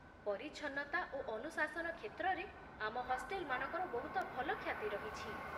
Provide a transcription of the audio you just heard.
ପରିଚ୍ଛନ୍ନତା ଓ ଅନୁଶାସନ କ୍ଷେତ୍ରରେ ଆମ ହଷ୍ଟେଲମାନଙ୍କର ବହୁତ ଭଲ ଖ୍ୟାତି ରହିଛି